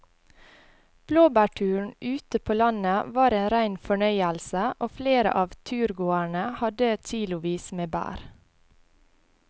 Blåbærturen ute på landet var en rein fornøyelse og flere av turgåerene hadde kilosvis med bær.